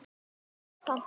Það brást aldrei.